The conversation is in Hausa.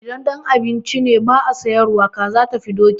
Idan don a ci ne ba a sayar ba, kaza tafi doki.